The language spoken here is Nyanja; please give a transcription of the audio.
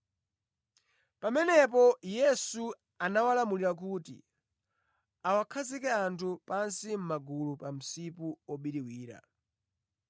Pamenepo Yesu anawalamulira kuti awakhazike anthu pansi mʼmagulu pa msipu obiriwira.